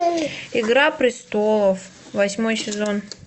игра престолов восьмой сезон